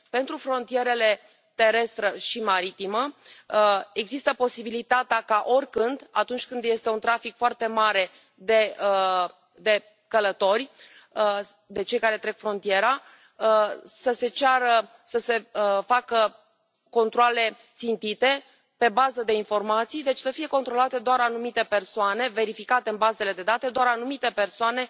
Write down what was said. Pentru frontierele terestră și maritimă există posibilitatea ca, oricând, atunci când este un trafic foarte mare de călători, de cei care trec frontiera, să se ceară să se facă controale țintite, pe bază de informații, deci să fie controlate doar anumite persoane, verificate în bazele de date doar anumite persoane